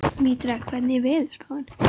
Mítra, hvernig er veðurspáin?